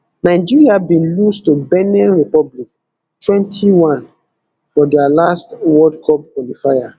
nigeria bin lose to benin republic twenty-one for dia last world cup qualifier